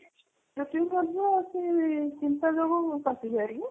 ସେଇ ଚିନ୍ତା ଯୋଗୁ ପାଚିଯାଏ ନା